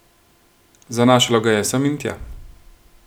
Zanašalo ga je sem in tja.